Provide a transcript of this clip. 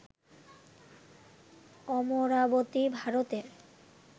অমরাবতী, ভারতের